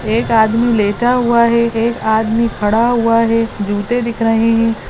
एक आदमी लेटा हुआ है एक आदमी खड़ा हुआ है जूते दिख रहे है।